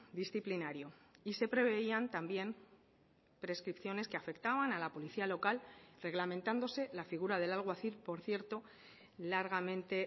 disciplinario y se preveían también prescripciones que afectaban a la policía local reglamentándose la figura del alguacil por cierto largamente